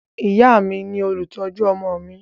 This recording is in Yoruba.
Ìyá mi ni olùtọ́jú ọmọ mi